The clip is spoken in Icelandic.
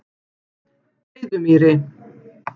Breiðumýri